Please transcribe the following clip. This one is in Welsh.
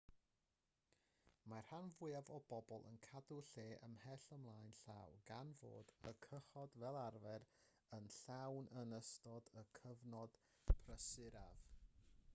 mae'r rhan fwyaf o bobl yn cadw lle ymhell ymlaen llaw gan fod y cychod fel arfer yn llawn yn ystod y cyfnod prysuraf